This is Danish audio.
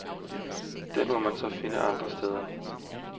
Den må man så finde andre steder.